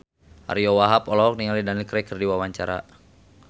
Ariyo Wahab olohok ningali Daniel Craig keur diwawancara